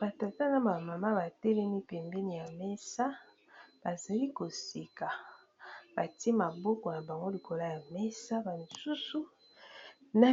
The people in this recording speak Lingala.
batata na bamama batelemi pembeni ya mesa bazali koseka batie maboko na bango likolo ya mesa ba misusu na